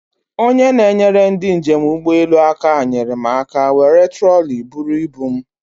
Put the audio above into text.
Onye na-enyere ndị njem ụgbọelu aka nyere m aka were troli buru ibu m.